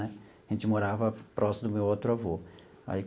Né a gente morava próximo do meu outro avô.